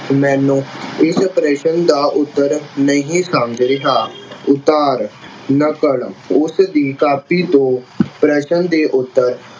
ਮੈਨੂੰ ਇਸ ਪ੍ਰਸ਼ਨ ਦਾ ਉੱਤਰ ਨਹੀਂ ਸਮਝ ਰਿਹਾ। ਉਤਾਰ ਨਕਲ ਉਸਦੀ ਕਾਪੀ ਤੋਂ ਪ੍ਰਸ਼ਨ ਦੇ ਉੱਤਰ